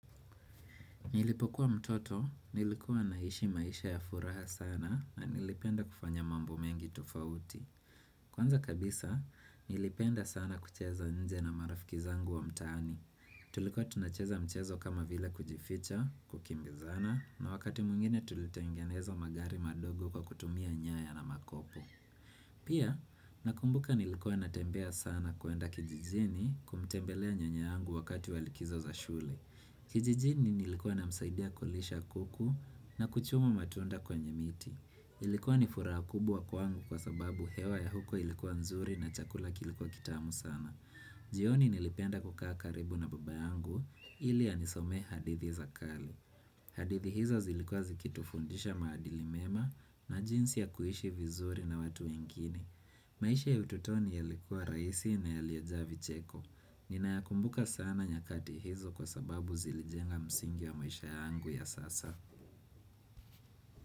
Nilipokuwa mtoto, nilikuwa naishi maisha ya furaha sana na nilipenda kufanya mambo mengi tofauti. Kwanza kabisa, nilipenda sana kucheza nje na marafiki zangu wa mtaani. Tulikuwa tunacheza mchezo kama vile kujificha, kukimbizana, na wakati mwigine tulitengeneza magari madogo kwa kutumia nyaya na makopo. Pia, nakumbuka nilikuwa natembea sana kuenda kijijini kumtembelea nyanya yangu wakati walikizo za shule. Kijijini nilikuwa na msaidia kulisha kuku na kuchumu matunda kwenye miti Ilikuwa nifuraha kubwa kwangu kwa sababu hewa ya huko ilikuwa nzuri na chakula kilikuwa kitamu sana jioni nilipenda kukaa karibu na baba yangu ili anisomee hadithi za kale hadithi hizo zilikuwa zikitufundisha maadili mema na jinsi ya kuishi vizuri na watu wengine maisha ya utotoni ya likuwa rahisi na yaliyejaa vicheko Ninaya kumbuka sana nyakati hizo kwa sababu zilijenga msingi ya maisha yangu ya sasa.